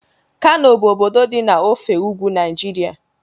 Kano bụ obodo dị na ofe ugwu Naịjirịa